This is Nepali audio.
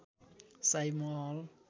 शाही महल